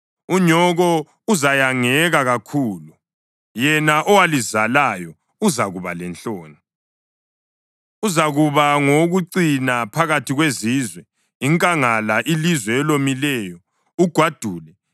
unyoko uzayangeka kakhulu, yena owalizalayo uzakuba lenhloni. Uzakuba ngowokucina phakathi kwezizwe, inkangala, ilizwe elomileyo, ugwadule.